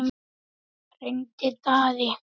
Hendrik Daði.